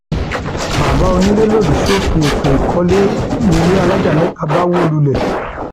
bàbá onílé lòdì sófin ètò ìkọlé nílé alájà mẹta bá wó lulẹ